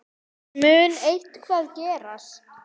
Mun eitthvað gerast?